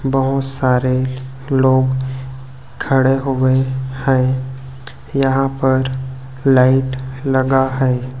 बहोत सारे लोग खड़े हुए हैं यहां पर लाइट लगा है।